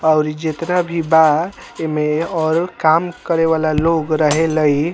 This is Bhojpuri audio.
और जितना भी बा ऐमें और काम करेवाला लोग रहे लइ।